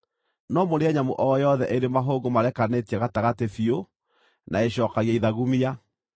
No mũrĩe nyamũ o yothe ĩrĩ mahũngũ marekanĩtie gatagatĩ biũ na ĩcookagia ithagumia.